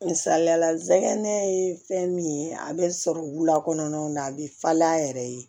Misaliyala nɛgɛ ye fɛn min ye a bɛ sɔrɔ wula kɔnɔna na a bɛ falen a yɛrɛ ye